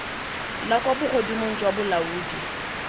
la kwa bogodimong jwa bolaodi